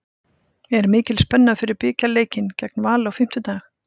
Er mikil spenna fyrir bikarleikinn gegn Val á fimmtudag?